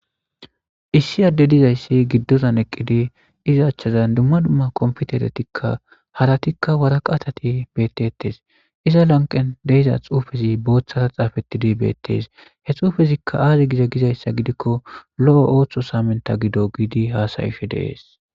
issi adde dizayssi giddozan eqqidi iza achchazan dumma dumma kompiteretikka haratikka waraqatati beettettes iza lanqen deiza xuufezi booththara xaafettidi bettes he xuufezikka aazi giza gizayssa gidikko lo7o ooththo saamenta gido giidi haasayishe deees